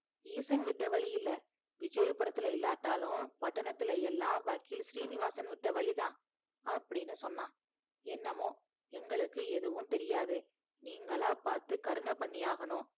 ஈசன் விட்ட வழி இல்ல விஜயபுரத்துல இல்லாட்டாலும் பட்டணத்துல எல்லா வக்கில் சீனிவாசன் விட்ட வழி தான் அப்படினு சொன்னான் என்னோமோ எங்களுக்கு எதுவும் தெரியாது நிங்களா பாத்து கர்ண பண்ணி ஆகும்